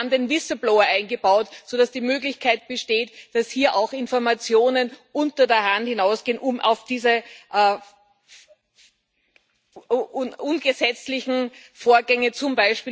Wir haben den Whistleblower eingebaut, sodass die Möglichkeit besteht, dass hier auch Informationen unter der Hand hinausgehen, um auf diese ungesetzlichen Vorgänge, z.